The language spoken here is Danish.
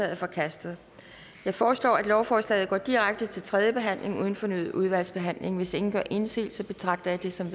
er forkastet jeg foreslår at lovforslaget går direkte til tredje behandling uden fornyet udvalgsbehandling hvis ingen gør indsigelse betragter jeg det som